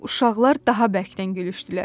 Uşaqlar daha bərkdən gülüşdülər.